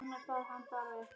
Ég er sonur Sylgju